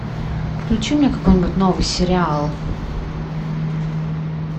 включи мне какой нибудь новый сериал